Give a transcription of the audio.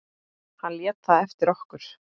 Hann lét það eftir okkur.